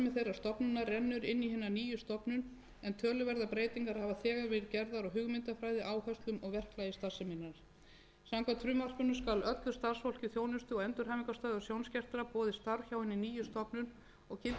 inn í hina nýju stofnun en töluverðar breytingar hafa þegar verið gerðar á hugmyndafræði áherslum og verklagi starfseminnar samkvæmt frumvarpinu skal öllu starfsfólki þjónustu og endurhæfingarstöðvar sjónskertra boðið starf hjá hinni nýju stofnun og gilda þá